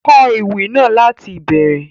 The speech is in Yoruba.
Kọ Ewì náà lati ìbẹrẹ!